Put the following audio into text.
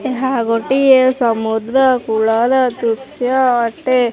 ଏହା ଗୋଟିଏ ସମୁଦ୍ର କୂଳର ଦୃଶ୍ୟ ଅଟେ।